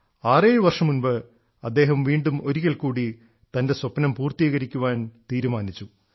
ആറേഴുവർഷം മുമ്പ് അദ്ദേഹം വീണ്ടും ഒരിക്കൽക്കൂടി തൻറെ സ്വപ്നം പൂർത്തീകരിക്കാൻ തീരുമാനിച്ചു